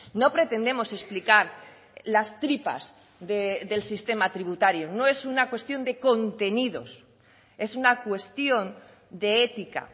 no pretendemos explicar las tripas del sistema tributario no es una cuestión de contenidos es una cuestión de ética